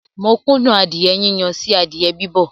Mo kún dùn adìẹ yíyan sí adìẹ bibọ̀